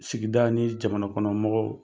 Sigida ni jamana kɔnɔ mɔgɔw